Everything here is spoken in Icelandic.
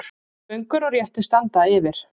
Göngur og réttir standa yfir.